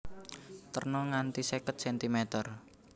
Terna nganti seket centimeter